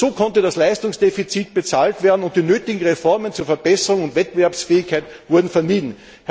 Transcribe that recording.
Nur so konnte das Leistungsdefizit bezahlt werden, und die nötigen Reformen zur Verbesserung der Wettbewerbsfähigkeit wurden vermieden.